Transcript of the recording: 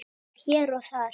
Hér og þar.